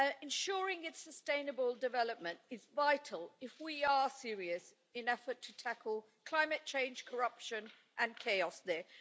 Ensuring its sustainable development is vital if we are serious in the effort to tackle the climate change, corruption and chaos there.